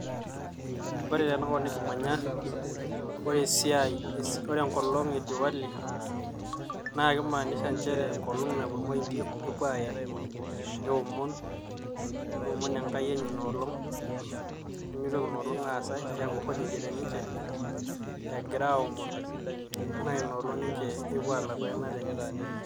Ore tenakop nikimanya ore esiai ,ore enkolong e Diwali naa keimaanisha inchere enkolong napuo irmoindi nepuo aaen neomon neomon enkai enye inaolong nemeitoki inoolong aas ai keeku holiday teninche egira aomon naa ina olong epuo aalaku eanata enye.